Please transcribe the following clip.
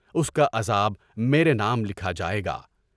اس کا عذاب میرے نام لکھا جائے گا۔